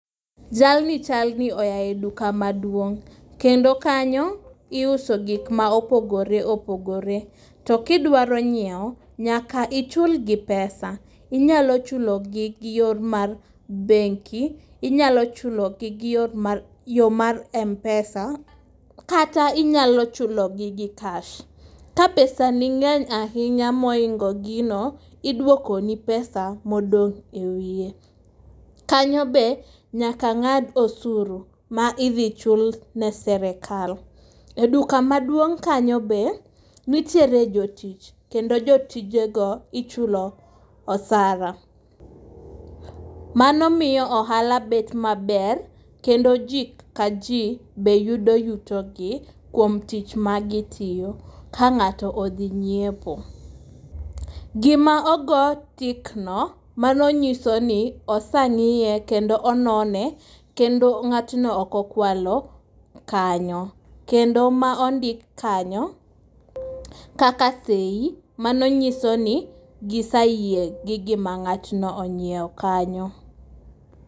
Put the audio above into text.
Jalni chalni oyae duka maduong'. Kendo kanyo iuso gik ma opogore opogore. To kidwaro nyiewo nyaka ichul gi pesa . Inyalo chulo gi gi yor mar benki , inyalo chulo gi gi yor mar, yo mar mpesa, kata inyalo chulo gi gi cash. Ka pesa ni ngény ahinya mohingo gino, iduoko ni pesa modong' e wiye. Kanyo be nyaka ngád osuru ma idhi chul ne sirkal. E duk maduong' kanyo be, nitiere jotich. Kendo jotije go ichulo osara. Manomiyo ohala bet maber, kendo ji ka ji be yudo yuto gi kuom tich ma gitiyo, ka ngáto odhi nyiepo. Gima ogo tick no, mano nyiso ni osengíye kendo onone kendo ngátno ok okwalo kanyo. Kendo ma ondik kanyo kaka seyi, mano nyiso ni giseyie gi gima ngátno onyiewo kanyo.